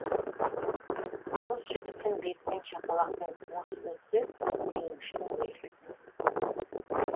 қыз жігіттің бетінен шапалақпен осып өтсе күйініштің белгісі